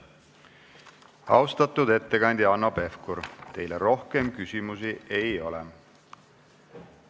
Austatud ettekandja Hanno Pevkur, teile rohkem küsimusi ei ole.